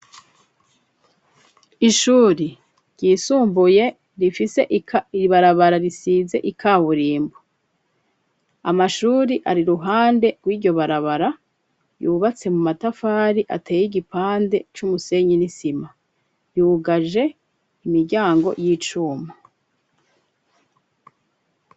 Ishuri ryisumbuye rifise ibarabara risize ikawurimbo, amashuri ari ruhande rw'iryo barabara yubatse mu matafari ateye igipande c'umusenye n'isima, yugaje imiryango y'icuma.